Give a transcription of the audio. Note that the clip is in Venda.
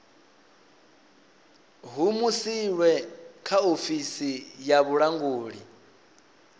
humusilwe kha ofisi ya vhulanguli